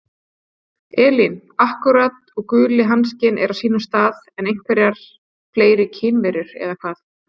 Elín: Akkúrat og guli hanskinn er á sínum stað en einhverjar fleiri kynjaverur, eða hvað?